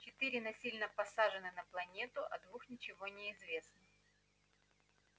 четыре насильно посажены на планету о двух ничего не известно